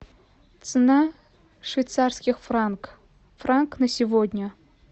цена швейцарских франк франк на сегодня